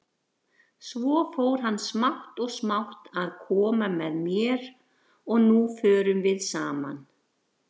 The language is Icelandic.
Svo fór hann smátt og smátt að koma með mér, og nú förum við saman.